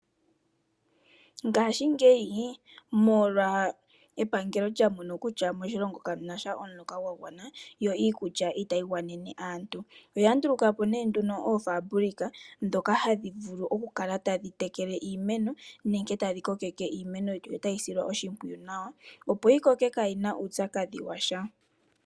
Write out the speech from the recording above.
Ngashingeyi epangelo olya mono kutya moshilongo ka mu na sha omuloka gwa gwana yo iikulya itayi gwanene aantu. Oya nduluka po oofaabulika ndhoka hadhi vulu okukala tadhi tekele iimeno nenge tadhi kokeke iimeno yo tayi silwa oshimpwiyu nawa opo yi koke kaayi na uupyakadhi wa sha.